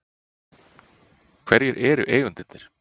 Hverjir eru eigendurnir?